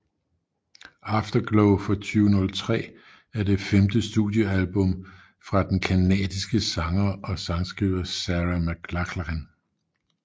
Afterglow fra 2003 er det femte studiealbum fra den canadiske sanger og sangskriver Sarah McLachlan